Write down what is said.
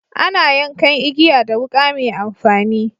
Ana yankan igiya da wuka mai amfani.